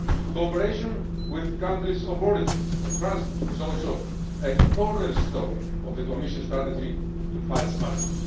Cooperation with countries of origin and transit is also a cornerstone of the Commission's strategy to fight smuggling.